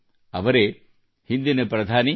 ಅವರೇ ಹಿಂದಿನ ಪ್ರಧಾನಿ ಪಿ